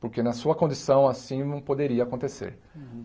Porque na sua condição assim não poderia acontecer.